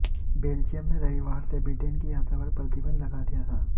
Belgium ने रविवार से ब्रिटेन की यात्रा पर प्रतिबंध लगा दिया था